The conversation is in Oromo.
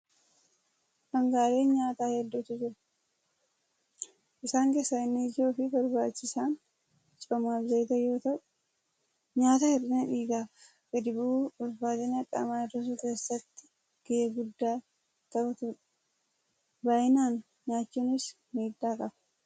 Dhaangaaleen nyaataa hedduutu jiru. Isaan keessaa inni ijoo fi barbaachisaan coomaa fi zayita yeroo ta'u, nyaata hir'ina dhiigaa fi gadi bu'uu ulfaatina qaamaa hir'isuu keessatti gahee guddaa taphatudha. Baay'inaan nyaachuunis miidhaa qaba!